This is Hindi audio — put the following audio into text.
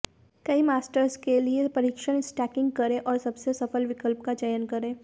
कई मास्टर्स के लिए परीक्षण स्टैकिंग करें और सबसे सफल विकल्प का चयन करें